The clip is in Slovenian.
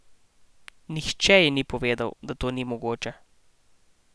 Nihče ji ni povedal, da to ni mogoče.